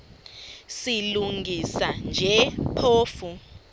silungisa nje phofu